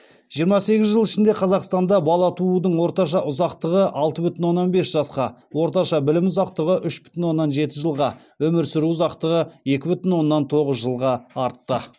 жиырма сегіз жыл ішінде қазақстанда бала туудың орташа ұзақтығы алты бүтін оннан бес жасқа орташа білім ұзақтығы үш бүтін оннан жеті жылға өмір сүру ұзақтығы екі бүтін оннан тоғыз жылға артты